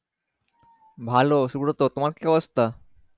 ভালো সুব্রত তোমার কি অবস্থা